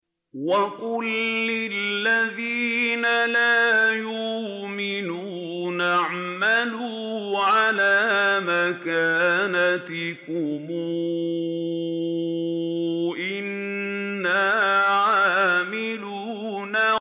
وَقُل لِّلَّذِينَ لَا يُؤْمِنُونَ اعْمَلُوا عَلَىٰ مَكَانَتِكُمْ إِنَّا عَامِلُونَ